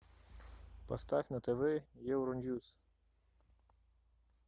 поставь на тв евроньюс